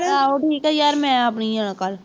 ਆਹੋ ਠੀਕ ਆ ਯਾਰ, ਮੈਂ ਆਪ ਨਹੀਂ ਜਾਣਾ ਕੱਲ੍ਹ